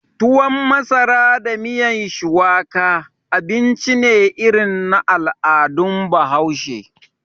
Tuwon masara da miyan shuwaka, abinci ne irin na al'adun bahaushe